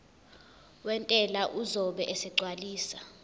wentela uzobe esegcwalisa